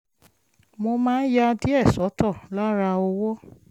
mo máa ń ya díẹ̀ sọ́tọ̀ lára owó